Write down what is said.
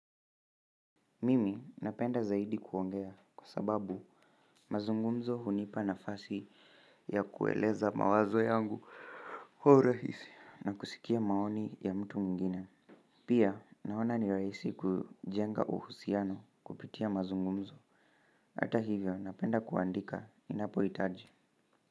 Mimi napenda zaidi kuongea kwa sababu mazungumzo hunipa nafasi ya kueleza mawazo yangu urahisi na kusikia maoni ya mtu mwingine pia naona ni rahisi kujenga uhusiano kupitia mazungumzo hata hivyo napenda kuandika inapohitaji.